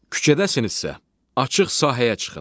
Küçədəsinizsə, açıq sahəyə çıxın.